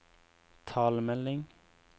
talemelding